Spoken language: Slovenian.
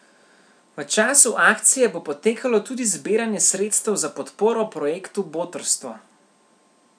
V času akcije bo potekalo tudi zbiranje sredstev za podporo projektu Botrstvo.